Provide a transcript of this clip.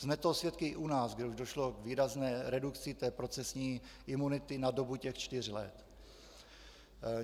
Jsme toho svědky i u nás, kde už došlo k výrazné redukci té procesní imunity na dobu těch čtyř let.